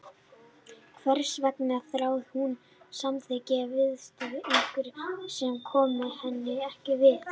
Hvers vegna þráði hún samþykki og viðurkenningu einhvers sem kom henni ekkert við?